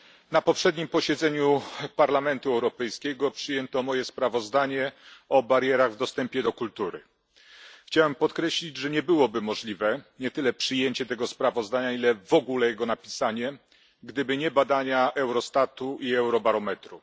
Panie Przewodniczący! Na poprzednim posiedzeniu Parlamentu Europejskiego przyjęto moje sprawozdanie o barierach w dostępie do kultury. Chciałem podkreślić, że nie byłoby możliwe nie tyle przyjęcie tego sprawozdania, ile w ogóle jego napisanie, gdyby nie badania Eurostatu i Eurobarometru.